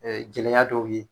Ɛɛ jɛlenya dɔw ye.